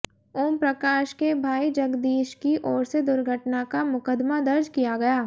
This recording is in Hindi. ओमप्रकाश के भाई जगदीश की ओर से दुर्घटना का मुकदमा दर्ज किया गया